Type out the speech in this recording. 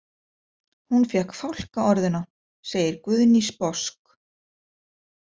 Hún fékk fálkaorðuna, segir Guðný sposk.